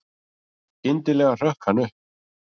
Skyndilega hrökk hann upp.